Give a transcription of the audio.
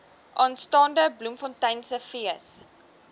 aanstaande bloemfonteinse fees